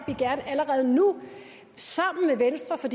vi gerne allerede nu sammen med venstre for